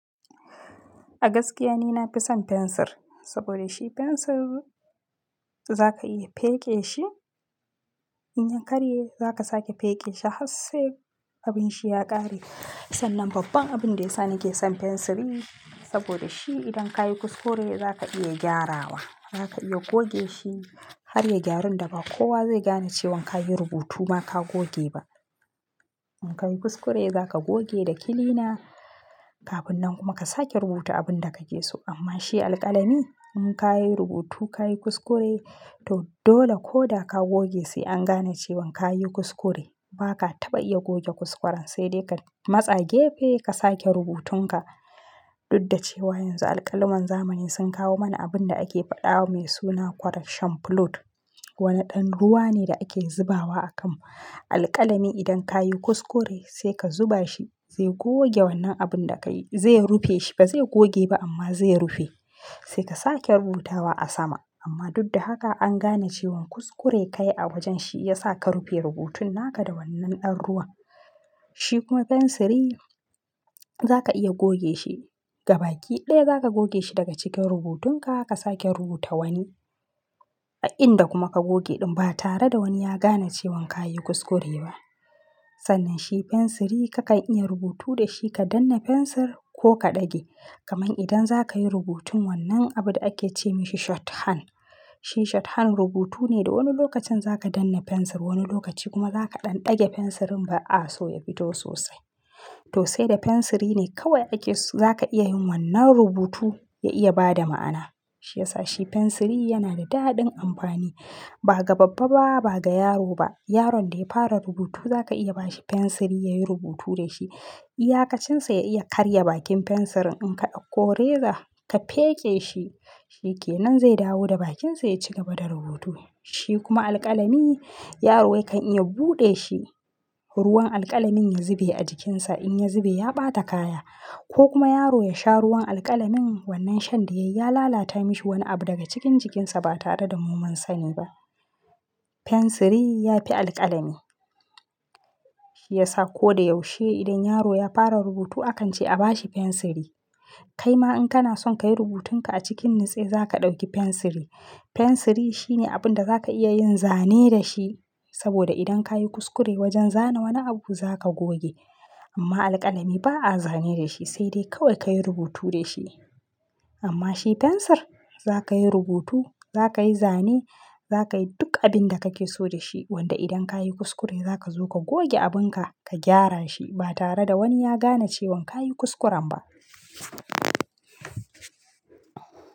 A gaskiya ni na fi son fensir saboda shi fensir za ka iya feke shi. In ya karye za ka sake feke shi har sai abin shi ya ƙare. Sannan babban abin da yasa nake son fensiri saboda shi idan ka yi kuskure za ka iya gyarawa. Za ka iya goge shi har ya gyarun daba. Kowa zai gane cewan ka yi rubutu ma ka goge ba. In ka yi kuskure za ka goge da kilina. Kafin nan kuma ka sake rubuta abin da kake so. Amma shi alƙalami in ka yi rubutu, ka yi kuskure, to dole ko da ka goge sai an gane cewan ka yi kuskure. Ba ka taɓa iya goge kuskuren sai dai ka matsa gefe ka sake rubutun ka. Dudda cewa yanzu alƙalaman zamani sun kawo mana abin da ake faɗawa mai suna correction fluid. Wani ɗan ruwa ne da ake zubawa a kan alƙalami idan ka yi kuskure sai ka zuba shi zai goge wannan abin da ka yi. Zai rufe shi ba zai goge ba amma zai rufe. Sai ka sake rubutawa a sama. Amma dud da haka an gane cewan kuskure kayi a wajen shi ya sa ka rufe rubutun naka da wannan ɗan ruwan. Shi kuma fensiri za ka iya goge shi. Gabaki ɗaya za ka goge shi daga cikin rubutun ka ka sake rubuta wani. A inda kuma ka goge ɗin ba tare da wani ya gane cewan ka yi kuskure ba. Sannan shi fensiri kakan iya rubutu da shi ka danne fensir ko ka ɗage. Kaman idan za ka yi rubutun wannan abun da ake ce mishi shorthand. Shi shorthand rubutu ne da wani lokacin za ka danne fensir wani lokaci kuma za ka ɗan dage fensirin ba a so ya fito sosai. To sai da fensiri ne kawai ake so za ka iya yin wannan rubutu ya iya ba da ma'ana. Shi yasa shi fensiri yana da daɗin amfani ba ga babba ba, ba ga yaro ba. Yaron da ya fara rubutu za ka iya ba shi fensir ya yi rubutu da shi. Iyakacin sa ya iya karya bakin fensirin in ka ɗauko reza ka feke shi, shi ke nan zai dawo da bakin sa ya ci gaba da rubutu. Shi kuma alƙalami yaro yakan iya buɗe shi, ruwan alƙalamin ya zube a jikinsa. In ya zube ya ɓata kaya ko kuma yaro ya sha ruwan alƙalamin wannan shan da ya lalata mishi wani abu daga cikin jikinsa ba tare da mu mun sani ba. Fensir ya fi alƙalami. Shi yasa ko da yaushe idan yaro ya fara rubutu akan ce a bashi fensiri. Kai ma in kana son ka yi rubutun ka a cikin nutse za ka ɗauki fensiri. Fensiri shine abin da za ka iya yin zane da shi. Saboda idan ka yi kuskure wajen zana wani abu za ka goge. Amma alƙalami ba a zane da shi sai dai kawai ka yi rubutu da shi. Amma shi fensir za ka yi rubutu, za ka yi zane, za ka yi duk abin da kake so da shi. Wanda idan ka yi kuskure za ka zo ka goge abin ka, ka gyara shi ba tare da wani ya gane cewan ka yi kuskuren ba.